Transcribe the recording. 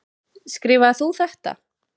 Skrifaðir þú þetta?